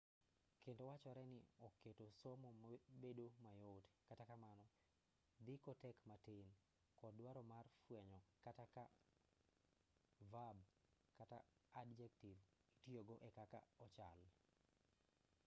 kendo wachore ni oketo somo bedo mayot kata kamano ndiko tek matin kod dwaro mar fwenyo kata ka vab kata adjektiv itiyogo e kaka ochal